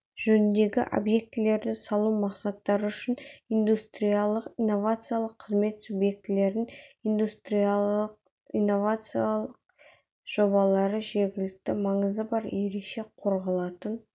жөніндегі объектілерді салу мақсаттары үшін индустриялық-инновациялық қызмет субъектілерінің индустриялық-инновациялық жобалары жергілікті маңызы бар ерекше қорғалатын